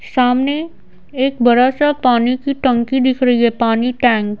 सामने एक बड़ा सा पानी की टंकी दिख रही है पानी टैंक --